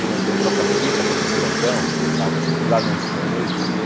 Ou então toca-fita, aqueles grandão, colocavam e lá não tinha energia.